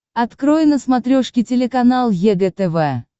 открой на смотрешке телеканал егэ тв